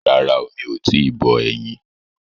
Rárá o, mi ò tíì bọ ẹyin.